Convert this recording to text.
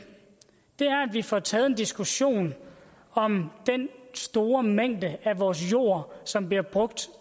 er får taget en diskussion om den store mængde af vores jord som bliver brugt